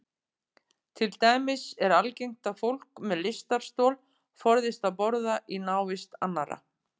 Til dæmis er algengt að fólk með lystarstol forðist að borða í návist annarra.